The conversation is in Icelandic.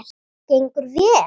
Gengur vel?